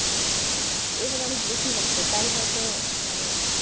এবার অনেক বেশি হচ্ছে। তাই হয়তো মানে